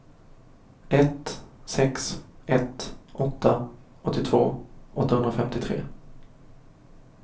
ett sex ett åtta åttiotvå åttahundrafemtiotre